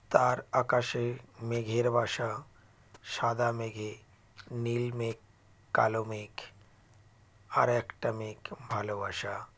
তার আকাশে মেঘের বাসা সাদা মেঘে নীল মেঘ কালো মেঘ আর একটা মেঘ ভালোবাসা